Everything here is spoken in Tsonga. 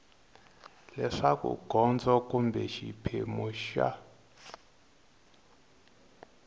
leswaku gondzo kumbe xiphemu xa